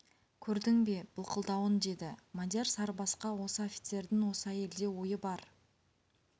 көрдің бе былқылдауын деді мадияр сарыбасқа осы офицердің осы әйелде ойы бар